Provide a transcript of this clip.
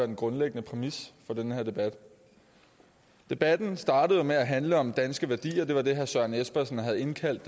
den grundlæggende præmis for den her debat debatten startede jo med at handle om danske værdier det var det herre søren espersen havde indkaldt